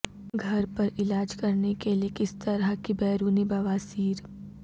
گھر پر علاج کرنے کے لئے کس طرح کی بیرونی بواسیر